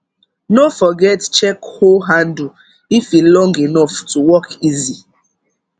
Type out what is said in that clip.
no forget check hoe handle if e long enough to work easy